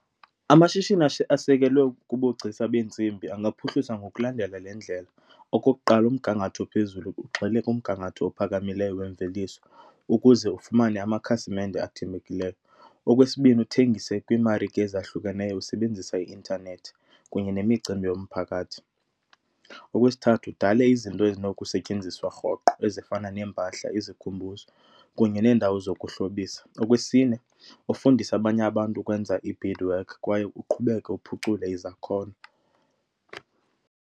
Amashishini asekelwe kubugcisa beentsimbi angaphuhliswa ngokulandela le ndlela, okokuqala umgangatho ophezulu ugxile kumgangatho ophakamileyo wemveliso ukuze ufumane amakhasimende athembekileyo. Okwesibini, uthengise kwiimarike ezahlukeneyo usebenzisa i-intanethi kunye nemicimbi yomphakathi. Okwesithathu udale izinto ezinokusetyenziswa rhoqo ezifana neempahla, izikhumbuzo kunye nendawo zokuhlobisa. Okwesine ufundise abanye abantu ukwenza i-beadwork kwaye uqhubeke uphucule izakhono.